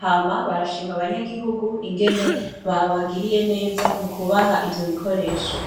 hama barashima abanyagihugu ingene babagiriye neza mu kubaha ivyo bikore esho.